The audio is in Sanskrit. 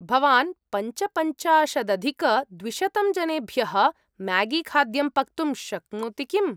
भवान् पञ्चपञ्चाशदधिकद्विशतं जनेभ्यः म्यागीखाद्यं पक्तुं शक्नोति किम्?